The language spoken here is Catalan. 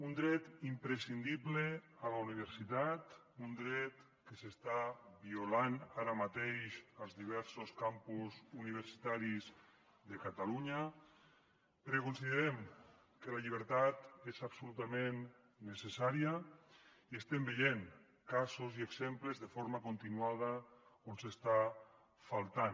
un dret imprescindible a la universitat un dret que s’està violant ara mateix als diversos campus universitaris de catalunya perquè considerem que la llibertat és absolutament necessària i estem veient casos i exemples de forma continuada on està faltant